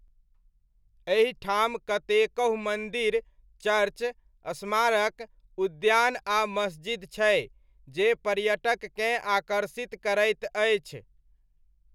एहि ठाम कतेकहु मन्दिर, चर्च, स्मारक, उद्यान आ मस्जिद छै जे पर्यटककेँ आकर्षित करैत अछि।